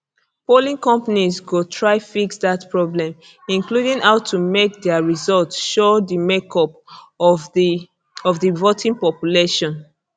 polling companies go try to fix dat problem including how to make dia results show di makeup of di of di voting population